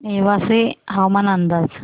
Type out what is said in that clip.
नेवासे हवामान अंदाज